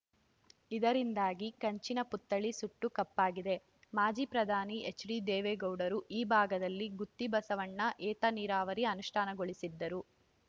ಇದರಿಂದಾಗಿ ಕಂಚಿನ ಪುತ್ಥಳಿ ಸುಟ್ಟು ಕಪ್ಪಾಗಿವೆ ಮಾಜಿ ಪ್ರಧಾನಿ ಎಚ್‌ಡಿದೇವೇಗೌಡರು ಈ ಭಾಗದಲ್ಲಿ ಗುತ್ತಿ ಬಸವಣ್ಣ ಏತ ನೀರಾವರಿ ಅನುಷ್ಠಾನಗೊಳಿಸಿದ್ದರು